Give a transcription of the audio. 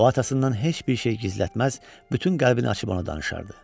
O atasından heç bir şey gizlətməz, bütün qəlbini açıb ona danışardı.